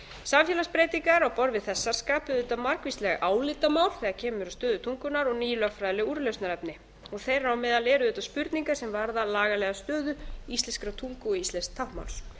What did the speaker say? samfélagsbreytingar á borð við þessar skapa auðvitað margvísleg álitamál þegar kemur að stöðu tungunnar og ný lögfræðileg úrlausnarefni þeirra á meðal eru auðvitað spurningar sem varða lagalega stöðu íslenskrar tungu og íslensks táknmáls